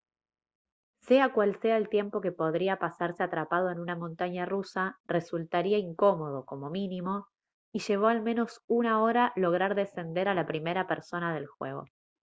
sea cual sea el tiempo que podría pasarse atrapado en una montaña rusa resultaría incómodo como mínimo y llevó al menos una hora lograr descender a la primera persona del juego»